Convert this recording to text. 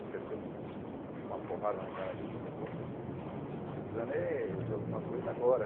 Eu sentei um uma porrada na cara dele, falei, pô, eu estou precisando é de alguma coisa agora.